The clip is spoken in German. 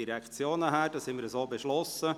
Das haben wir so beschlossen.